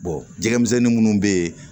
jɛgɛmisɛnnin minnu bɛ yen